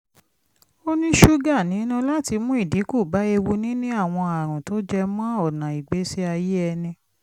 ó ní ṣúgà nínú láti mú ìdínkù bá ewu níní àwọn àrùn tó jẹ mọ́ ọnà ìgbésí ayé ẹni